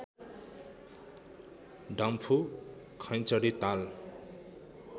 डम्फु खैँचडी ताल